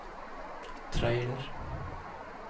trailer